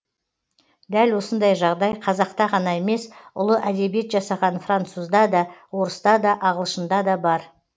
дәл осындай жағдай қазақта ғана емес ұлы әдебиет жасаған французда да орыста да ағылшында да бар